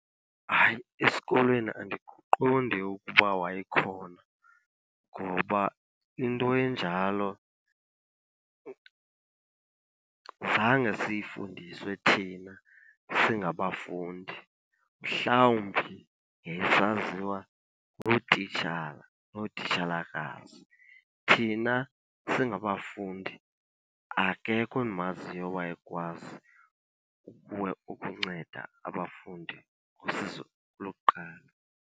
Hayi, esikolweni andiqondi ukuba wayekhona ngoba into enjalo zange siyifundiswe thina singabafundi, mhlawumbi yayisaziwa ngootitshala nootitshalakazi. Thina singabafundi akekho endimaziyo owayekwazi ukunceda abafundi ngosizo lokuqala.